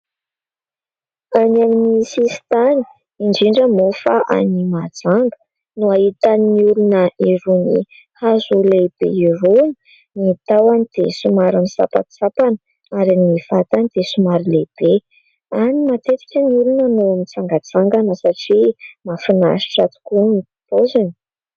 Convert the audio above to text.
Any amin'ny sisin-tany, indrindra moa fa any Mahajanga no ahitan'ny olona irony hazo lehibe irony, ny tahony dia somary misampantsampana ary ny vatany dia somary lehibe. Any matetika ny olona no mitsangantsangana satria mahafinaritra tokoa ny paoziny.